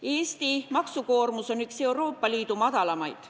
Eesti maksukoormus on üks Euroopa Liidu madalamaid.